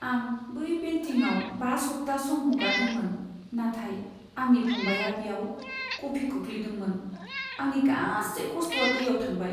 आं बै पेन्टिंआव बा सप्ता सम हगारदोंमोन, नाथाय आंनि फंबाइआ बेयाव कफि खोख्लैदों। आंनि गासै खस्ट'आ दैआव थांबाय।